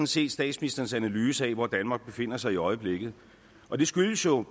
set statsministerens analyse af hvor danmark befinder sig i øjeblikket og det skyldes jo